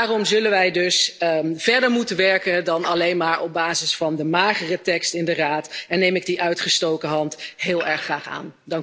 Daarom zullen wij dus verder moeten werken dan alleen maar op basis van de magere tekst van de Raad en neem ik die uitgestoken hand heel erg graag aan.